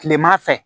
Kilema fɛ